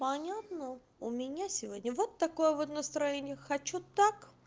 понятно у меня сегодня вот такой вот настроение хочу так